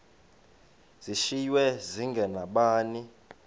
zishiywe zinge nabani